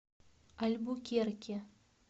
альбукерке